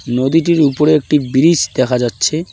নদীটির উপরে একটি ব্রিস দেখা যাচ্ছে।